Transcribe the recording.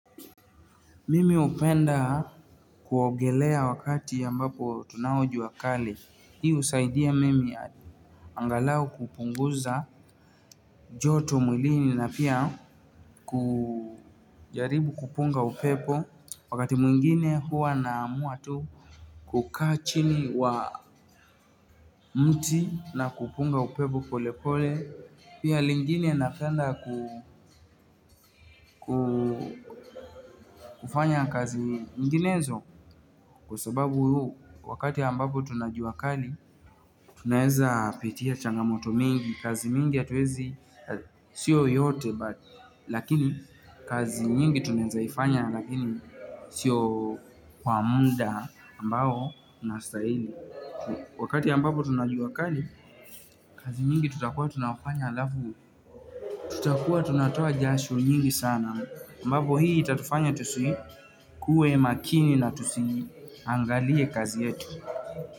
Mimi hupenda kuogelea wakati ambapo tunao jua kali. Hiu husaidia mimi angalau kupunguza joto mwilini na pia kujaribu kupunga upepo. Wakati mwingine huwa na amua tu kukaa chini wa mti na kupunga upepo pole pole. Pia lingine napenda kufanya kazi nyinginezo kwa sababu wakati ambapo tuna jua kali. Tunaeza pitia changamoto mingi, kazi mingi ya hatuwezi, siyo yote but lakini kazi nyingi tunaezaifanya, lakini siyo kwa muda ambao unastahili. Wakati ambapo tunajua kali, kazi nyingi tutakuwa tunafanya alafu tutakuwa tunatoa jasho nyingi sana, ambapo hii itatufanya tusi kue makini na tusiangalie kazi yetu.